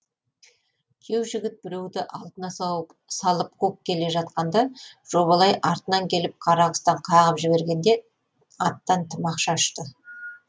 күйеу жігіт біреуді алдына салып қуып келе жатқанда жобалай артынан келіп қарақұстан қағып жібергенде аттан тымақша ұшты